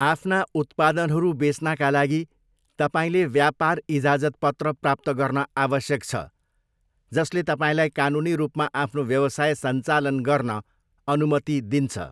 आफ्ना उत्पादनहरू बेच्नाका लागि, तपाईँले व्यापार इजाजतपत्र प्राप्त गर्न आवश्यक छ जसले तपाईँलाई कानुनी रूपमा आफ्नो व्यवसाय सञ्चालन गर्न अनुमति दिन्छ।